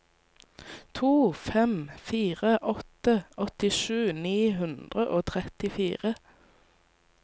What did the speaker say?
to fem fire åtte åttisju ni hundre og trettifire